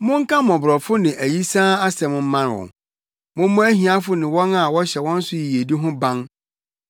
Monka mmɔborɔfo ne ayisaa asɛm mma wɔn; mommɔ ahiafo ne wɔn a wɔhyɛ wɔn so yiyedi ho ban.